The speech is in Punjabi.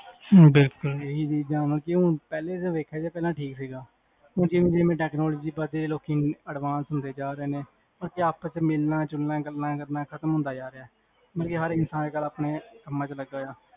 ਬਿਲਕੁਲ ਇਹੀ ਸੀ ਪਹਿਲੇ ਦੇਖਿਆ ਠੀਕ ਸੀਗਾ ਜਿਵੇ ਜਿਵੇ technology ਵੱਧ ਦੀ ਜਾ ਰਹੀ ਹੈ ਲੋਕੀ advance ਹੁੰਦੇ ਜਾ ਰਹੇ ਨੇ ਆਪਸ ਚ ਮਿਲਣਾ ਜੁਲਣਾ ਖਤਮ ਹੁੰਦਾ ਜਾ ਰਿਹਾ ਹਰ ਇਨਸਾਨ ਆਪਣੇ ਕਾਮ ਚ ਲੱਗਿਆ ਹੋਇਆ ਹੈ